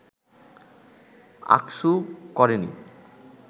আকসু করেনি